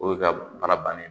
O ye ka baara bannen ye